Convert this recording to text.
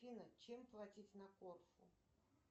афина чем платить на корфу